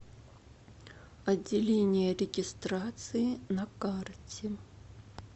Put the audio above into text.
отделение регистрации на карте